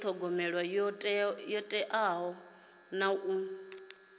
thogomela ho teaho na u